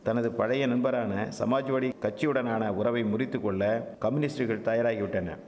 தனது பழைய நண்பரான சமாஜ்வாடி கட்சியுடனான உறவை முறித்துக்கொள்ள கமுனிஸ்ட்கள் தயாராகிவிட்டன